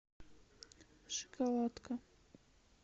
шоколадка